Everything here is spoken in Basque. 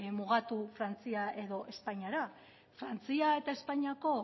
mugatu frantzia edo espainiara frantzia eta espainiako